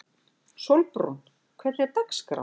Sólbrún, hvernig er dagskráin?